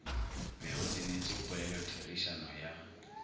be o tsenetše polelotherišano ya